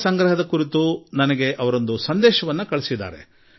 ಜಲ ಸಂರಕ್ಷಣೆ ಕುರಿತು ಅವರು ನನಗೆ ಸಂದೇಶ ನೀಡಿದ್ದಾರೆ